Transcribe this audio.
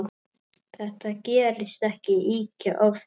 Þetta gerist ekki ýkja oft.